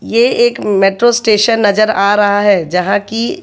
ये एक metro station नजर आ रहा हैं जहाँ कि--